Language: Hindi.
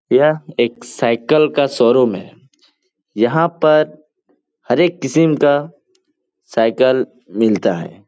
यह एक साइकिल का शोरूम है। यहाँ पर हरे एक किसम का साइकिल मिलता है।